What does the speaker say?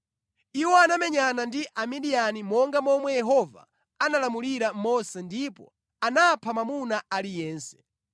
Iwo anamenyana ndi Amidiyani monga momwe Yehova analamulira Mose ndipo anapha mwamuna aliyense.